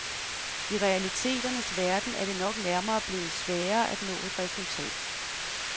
I realiteternes verden er det nok nærmere blevet sværere at nå et resultat.